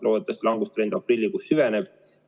Loodetavasti langustrend aprillikuus süveneb.